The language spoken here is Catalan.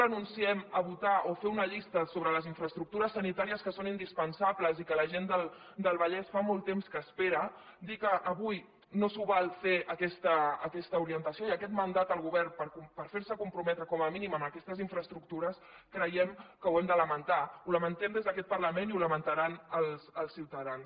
nunciem a votar o fer una llista sobre les infraestructures sanitàries que són indispensables i que la gent del vallès fa molt temps que espera dir que avui no s’ho val fer aquesta orientació i aquest mandat al govern per fer lo comprometre com a mínim a aquestes infraestructures creiem que ho hem de lamentar ho lamentem des d’aquest parlament i ho lamentaran els ciutadans